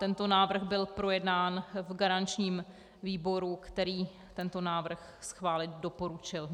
Tento návrh byl projednán v garančním výboru, který tento návrh schválit doporučil.